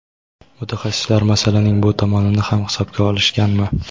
mutaxassislar masalaning bu tomonini ham hisobga olishganmi?.